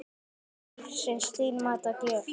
Lífsins dýrmæta gjöf.